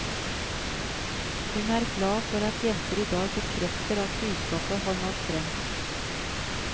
Hun er glad for at jenter i dag bekrefter at budskapet har nådd frem.